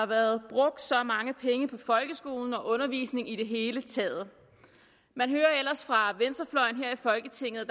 været brugt så mange penge på folkeskolen og undervisning i det hele taget man hører ellers fra venstrefløjen her i folketinget at